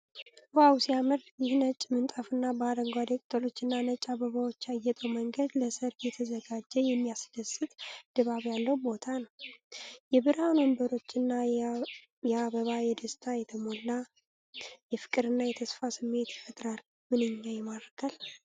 ዋው ሲያምር! ይህ ነጭ ምንጣፍና በአረንጓዴ ቅጠሎችና ነጭ አበባዎች ያጌጠው መንገድ ለሠርግ የተዘጋጀ የሚያስደስት ድባብ ያለው ቦታ ነው። የብርሃን ወንበሮችና የአበባ በደስታ የተሞላ፣ የፍቅርና የተስፋ ስሜት ይፈጥራል። ምንኛ ይማርካል!